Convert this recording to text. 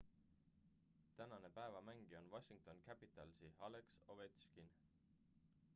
tänane päeva mängija on washington capitalsi alex ovechkin